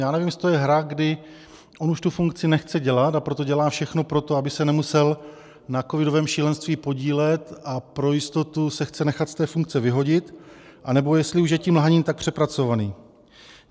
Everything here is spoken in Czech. Já nevím, jestli to je hra, kdy on už tu funkci nechce dělat, a proto dělá všechno pro to, aby se nemusel na covidovém šílenství podílet a pro jistotu se chce nechat z té funkce vyhodit, anebo jestli už je tím lhaním tak přepracovaný.